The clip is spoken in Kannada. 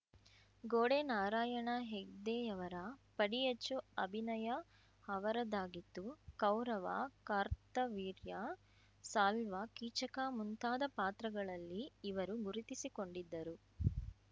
ಗೋಡೆ ನಾರಾಯಣ ಹೆಗ್ಡೆಯವರ ಪಡಿಯಚ್ಚು ಅಭಿನಯ ಅವರದಾಗಿತ್ತು ಕೌರವ ಕಾರ್ತವೀರ್ಯ ಸಾಲ್ವ ಕೀಚಕ ಮುಂತಾದ ಪಾತ್ರಗಳಲ್ಲಿ ಇವರು ಗುರುತಿಸಿಕೊಂಡಿದ್ದರು